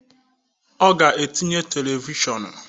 Ọ ga-etinye televishọnu